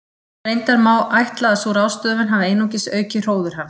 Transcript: Reyndar má ætla að sú ráðstöfun hafi einungis aukið hróður hans.